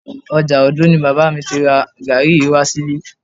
Ọjà Òndó ni bàbá mi ti ra gàárì yìí wá sílé